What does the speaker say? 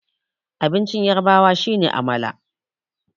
abincin yarabawa shi ne amala